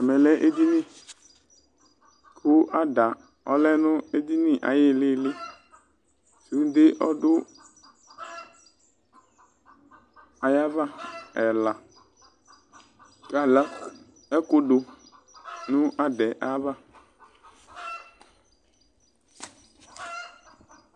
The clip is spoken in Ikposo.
Ɛmɛ lɛ edini ,kʋ ada ɔlɛ nʋ edinie ayʋ ɩɣɩlɩlɩ, sʋnde ɔdʋ ayava ɛlaKa ala ɛkʋ dʋ n 'adaɛ ayava